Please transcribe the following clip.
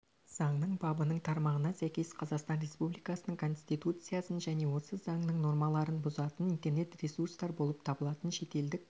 заңның бабының тармағына сәйкес қазақстан республикасының конституциясын және осы заңның нормаларын бұзатын интернет-ресурстар болып табылатын шетелдік